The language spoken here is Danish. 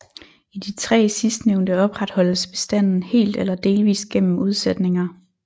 I de tre sidstnævnte opretholdes bestanden helt eller delvist gennem udsætninger